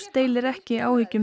deilir ekki áhyggjum